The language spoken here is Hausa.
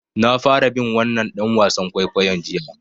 Na fara bin wannan ɗan wasan kwaikwayon jiya.